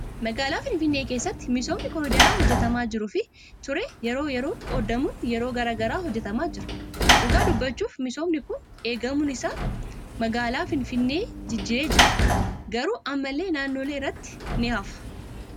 Magaalaa Finfinnee keessatti misoomni koriidarii hojjatamaa jiruu fi ture yeroo yeroon qoodamuun yeroo garaagaraa hojjatamaa jira. Dhugaa dubbachuuf misoomni Kun eegaamuun isaa magaalaa Finfinnee jijjiireen Jira. Garuu ammallee naannoolee irratti ni hafa